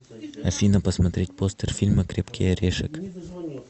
афина посмотреть постер фильма крепкии орешек